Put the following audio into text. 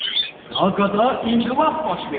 Praqada inqilab baş verib.